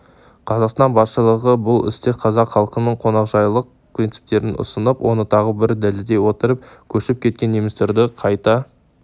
қазақстан басшылығы бұл істе қазақ халқының қонақжайлық принциптерін ұстанып оны тағы бір дәлелдей отырып көшіп кеткен немістерді қайта